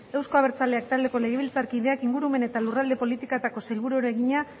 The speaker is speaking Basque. euzko abertzaleak taldeko legebiltzarkideak ingurumen eta lurralde politikako sailburuari egina